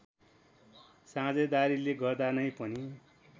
साझेदारीले गर्दा नै पनि